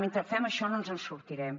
mentre fem això no ens en sortirem